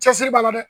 Cɛsiri b'a la dɛ